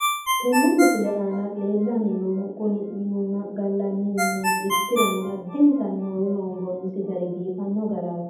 tenne misile aana leellanni noohu kuni minunna gallanni mineeti ikkirono addintanni hoowe hoomboonnisi gari biifanno garaati.